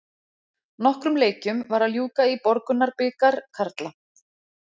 Nokkrum leikjum var að ljúka í Borgunarbikar karla.